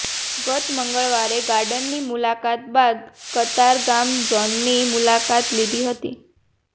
ગત મંગળવારે ગાર્ડનની મુલાકાત બાદ કતારગામ ઝોનની મુલાકાત લીધી હતી